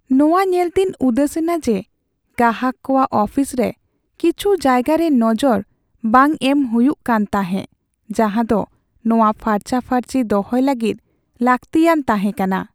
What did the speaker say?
ᱱᱚᱶᱟ ᱧᱮᱞᱛᱮᱧ ᱩᱫᱟᱹᱥᱮᱱᱟ ᱡᱮ ᱜᱟᱦᱟᱠ ᱠᱚᱣᱟᱜ ᱚᱯᱷᱤᱥ ᱨᱮ ᱠᱤᱪᱷᱩ ᱡᱟᱭᱜᱟᱨᱮ ᱱᱚᱡᱚᱨ ᱵᱟᱝ ᱮᱢ ᱦᱩᱭᱩᱜ ᱠᱟᱱ ᱛᱟᱦᱮᱸᱜ ᱡᱟᱦᱟᱸᱫᱚ ᱱᱚᱶᱟ ᱯᱷᱟᱨᱪᱟ ᱯᱷᱟᱹᱨᱪᱤ ᱫᱚᱦᱚᱭ ᱞᱟᱹᱜᱤᱫ ᱞᱟᱹᱠᱛᱤᱭᱛᱟᱦᱮᱸᱠᱟᱱᱟ ᱾